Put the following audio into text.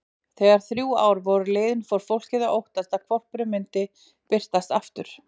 Þegar þrjú ár voru liðin fór fólkið að óttast að hvolpurinn myndi birtast aftur.